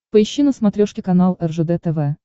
поищи на смотрешке канал ржд тв